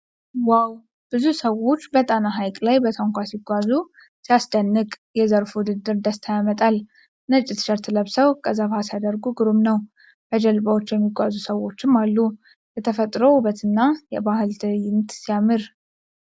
ዋው! ብዙ ሰዎች በጣና ሐይቅ ላይ በታንኳ ሲጓዙ ሲያስደንቅ! የዘርፉ ውድድር ደስታ ያመጣል ። ነጭ ቲሸርት ለብሰው ቀዘፋ ሲያደርጉ ግሩም ነው። በጀልባዎች የሚጓዙ ሰዎችም አሉ። የተፈጥሮ ውበትና የባህል ትዕይንት ሲያምር!